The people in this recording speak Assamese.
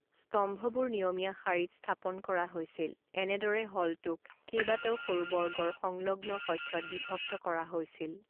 স্তম্ভবোৰ নিয়মীয়া শাৰীত স্থাপন কৰা হৈছিল, এনেদৰে হলটোক কেইবাটাও সৰু বৰ্গৰ সংলগ্ন কক্ষত বিভক্ত কৰা হৈছিল।